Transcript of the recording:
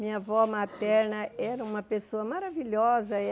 Minha avó materna era uma pessoa maravilhosa e a.